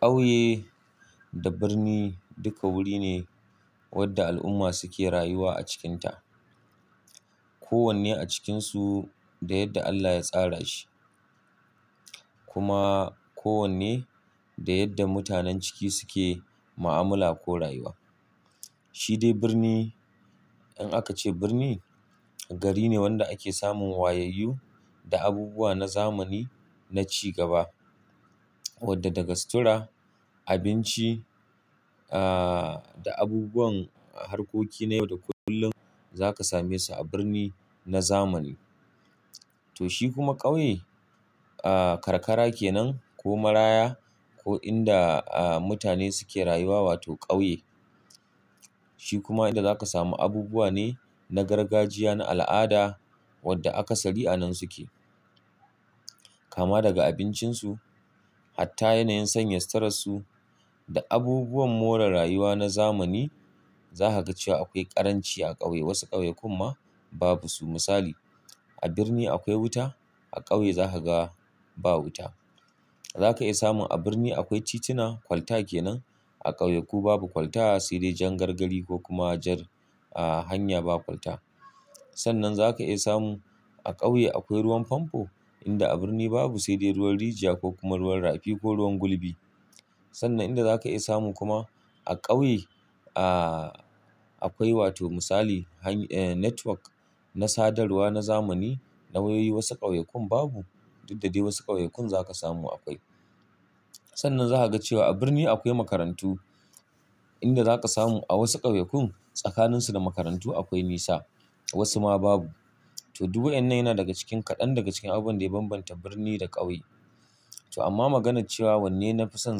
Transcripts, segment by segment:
Ƙauye da birni duka wuri ne wanda al'umma suke rayuwa a cikinta. Ko wanne a cikinsu da yadda Allah ya tsara shi, kuma ko wanne da yadda mutanen ciki suke ma'amula ko rayuwa. Shi dai birni in aka ce birni gari ne wanda ake samun wayaiyu da abubuwa na zamani na ci gaba wadda daga sutura, abinci, ahhh, da abubuwan harkoki na yau da kullum zaka same su a birni na zamani. To shi kuma ƙauye, ahhh, karkara kenan ko maraya ko inda mutane suke rayuwa wato ƙauye. Shi kuma inda zaka samu abubuwa ne na gargajiya na al'ada wadda aka sari a nan suke. Kama daga abincinsu hatta yanayin sanya suturar su da abubuwan more rayuwa na zamani za ka ga cewa akwai ƙaranci a ƙauye. Wasu ƙauye kumma babu su. Misali a birni akwai wuta, a ƙauye zaka ga ba wuta. Zaka iya samun a birni akwai tituna kwalta kenan. A ƙauye ku babu kwalta sai dai jan gargari ko kuma jar hanya ba kwalta. Sannan zaka iya samun a ƙauye akwai ruwan famfo inda a birni babu sai dai ruwan rijiya ko kuma ruwan rafi ko ruwan gurbi. Sannan inda zaka iya samun kuma a ƙauye, ahhh, akwai wato misali han ehh network na sadarwa na zamani, na wayoyi wasu ƙauyukan babu, duk da dai wasu ƙauyukan zaka samu akwai. Sannan za ka ga cewa a birni akwai makarantu inda zaka samu a wasu ƙauyukan tsakanin su da makarantu akwai nisa, wasu ma babu. To duk wayan nan yana daga cikin kaɗan daga cikin abun da ya bambanta birni da ƙauye. To amma maganar cewa wanne na fi son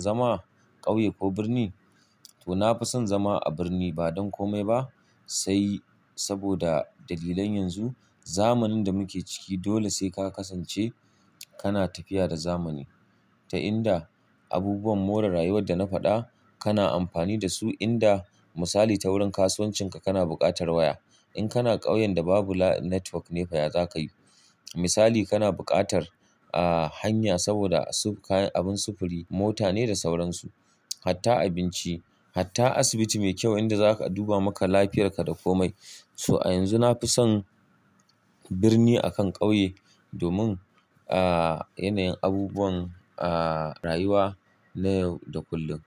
zama ƙauye ko birni, to na fi son zama a birni ba don komai ba sai saboda dalilan yanzu. Zamanin da muke ciki dole sai ka kasance kana tafiya da zamani ta inda abubuwan more rayuwar da na faɗa kana amfani da su inda misali ta wurin kasuwancin ka kana buƙatar waya. In kana ƙauyen da babu network ne fa ya za ka yi. Misali kana buƙatar, ahhh, hanya saboda abun sufuri mota ne da sauransu. Hatta abinci hatta asibiti mai kyau inda za, a duba maka lahiyarka da ko mai to a yanzu na fi son birni a kan ƙauye domin, ahhh, yanayin abubuwan, ahhh, rayuwa na yau da kullum.